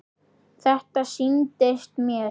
Þetta sýndist mér!